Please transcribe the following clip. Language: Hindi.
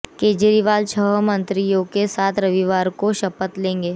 केजरीवाल छह मंत्रियों के साथ रविवार को शपथ लेंगे